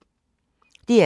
DR2